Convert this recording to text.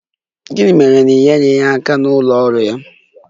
Gịnị mere na i nyeghị ya aka n'ọrụ ụlọ ya?